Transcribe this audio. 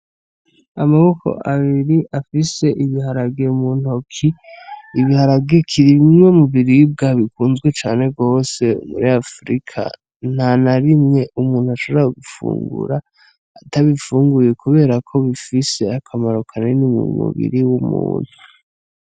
Amaboko abiri afise ibiharage mu ntoke, biri mubiribwa bikunzwe cane gose muri afirika ntanarimwe umuntu ashobora gufungura atabifunguye kuberako bifise akamaro kanini mu mubiri w'umuntu.